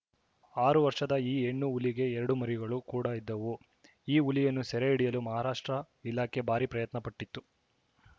ಆರು ವರ್ಷದ ಈ ಹೆಣ್ಣು ಹುಲಿಗೆ ಎರಡು ಮರಿಗಳು ಕೂಡ ಇದ್ದವು ಈ ಹುಲಿಯನ್ನು ಸೆರೆ ಹಿಡಿಯಲು ಮಹಾರಾಷ್ಟ್ರ ಇಲಾಖೆ ಭಾರಿ ಪ್ರಯತ್ನ ಪಟ್ಟಿತ್ತು